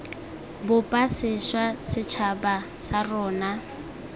bopa sešwa setšhaba sa rona